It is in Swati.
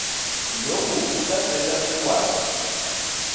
loku kutasenta sikwati